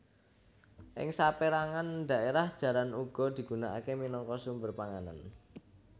Ing sapérangan dhaérah jaran uga digunaaké minangka sumber panganan